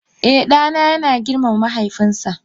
Eh, dana yana girmama mahaifinsa